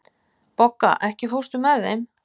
Bogga, ekki fórstu með þeim?